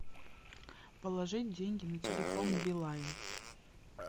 положить деньги на телефон билайн